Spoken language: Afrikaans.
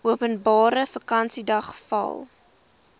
openbare vakansiedag val